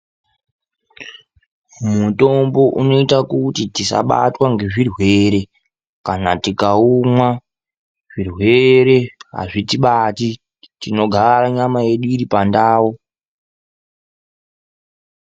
Mutombo unoita kuti tisabatwa ngezvirwere, kana tikaumwa zvirwere azvitibati, tinogara nyama yedu iri pandau.